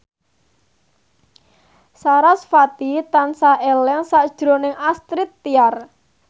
sarasvati tansah eling sakjroning Astrid Tiar